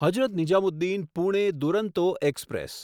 Hazrat Nizamuddin Pune Duronto express